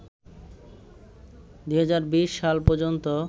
২০২০ সাল পর্যন্ত